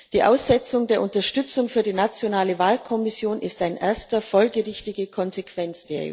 Die Aussetzung der Unterstützung für die nationale Wahlkommission durch die EU ist eine erste folgerichtige Konsequenz.